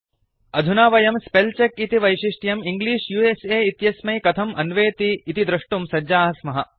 अधुना वयं spell check इति वैशिष्ट्यं इंग्लिश उस इत्यस्मै कथम् अन्वेति इति दृष्टुं सज्जाः स्मः